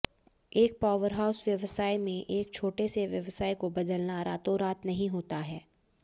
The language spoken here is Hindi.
एक पावरहाउस व्यवसाय में एक छोटे से व्यवसाय को बदलना रातोंरात नहीं होता है